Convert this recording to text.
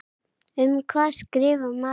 Um hvað skrifar maður þá?